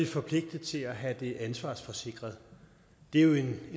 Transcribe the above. forpligtet til at have det ansvarsforsikret det er jo en